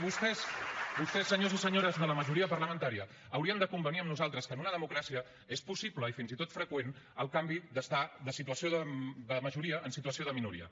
vostès senyors i senyores de la majoria parlamentària haurien de convenir amb nosaltres que en una democràcia és possible i fins i tot freqüent el canvi d’estar de situació de majoria en situació de minoria